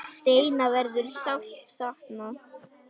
Steina verður sárt saknað.